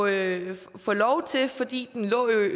ikke få lov til fordi den lå i